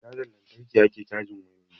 Da cajan lantarki ake cajin wayoyi